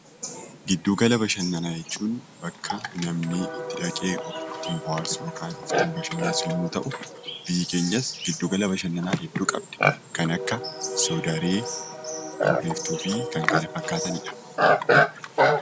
Giddu gala bashannanaa jechuun bakka namni itti dhaqee of ittiin bohaarsu (of ittiin bashannansiisu) yoo ta'u, biyyi keenyas giddu gala bashannanaa hedduu qabdi: kan akka Soodaree, Kurriftuu fi kan kana fakkaatani dha.